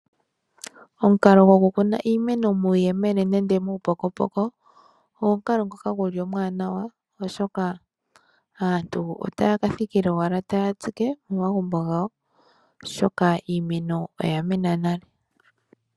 Omukalo gokukuna iimeno muuyemele nenge muupukopoko omwaanawa oshoka aantu ohaya thikile owala taya tsike momagumbo gawo oshoka iimeno oyamena nale.